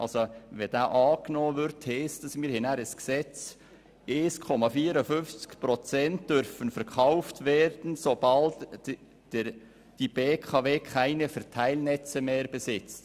Würde dieser angenommen, hätten wir nachher ein Gesetz, welches lautet: 1,54 Prozent der Aktien dürfen verkauft werden, sobald die BKW keine Verteilnetze mehr besitzt.